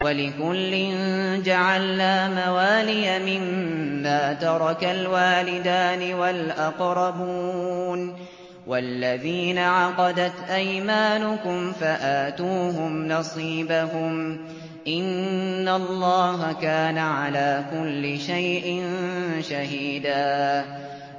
وَلِكُلٍّ جَعَلْنَا مَوَالِيَ مِمَّا تَرَكَ الْوَالِدَانِ وَالْأَقْرَبُونَ ۚ وَالَّذِينَ عَقَدَتْ أَيْمَانُكُمْ فَآتُوهُمْ نَصِيبَهُمْ ۚ إِنَّ اللَّهَ كَانَ عَلَىٰ كُلِّ شَيْءٍ شَهِيدًا